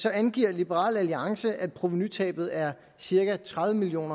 angiver liberal alliance at provenutabet er cirka tredive million